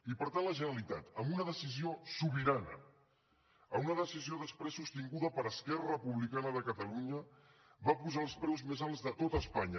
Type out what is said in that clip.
i per tant la generalitat amb una decisió sobirana amb una decisió després sostinguda per esquerra republicana de catalunya va posar els preus més alts de tot espanya